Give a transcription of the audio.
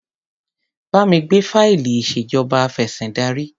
Bá mi gbé fáìlì ìṣèjọba afẹ̀sìndarí.